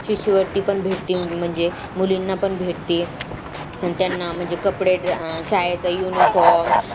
शिष्यवृत्ती पण भेटती म्हणजे मुलींना पण भेटती आण त्यांना कपडे शाळेचा uniform